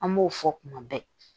An b'o fɔ kuma bɛɛ